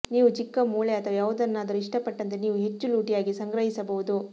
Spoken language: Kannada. ನೀವು ಚಿಕ್ಕ ಮೂಳೆ ಅಥವಾ ಯಾವುದನ್ನಾದರೂ ಇಷ್ಟಪಟ್ಟಂತೆ ನೀವು ಹೆಚ್ಚು ಲೂಟಿಯಾಗಿ ಸಂಗ್ರಹಿಸಬಹುದು